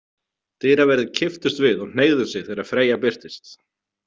Dyraverðir kipptust við og hneigðu sig þegar Freyja birtist.